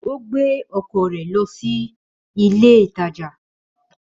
Ó gbé ọkọ̀ rẹ̀ lọ sí ilé ìtajà.